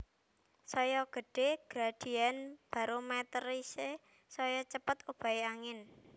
Saya gedhé gradién barometrisé saya cepet obahé angin